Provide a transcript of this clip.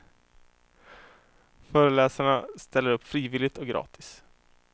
Föreläsarna ställer upp frivilligt och gratis.